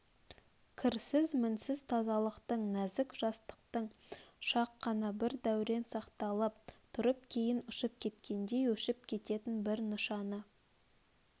кірсіз мінсіз тазалықтың нәзік жастықтың шақ қана бір дәурен сақталып тұрып кейін ұшып кеткендей өшіп кететін бір нышаны